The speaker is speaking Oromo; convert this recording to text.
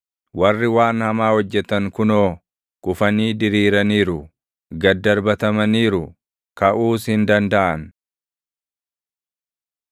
Warri waan hamaa hojjetan kunoo kufanii diriiraniiru; gad darbatamaniiru; kaʼuus hin dandaʼan!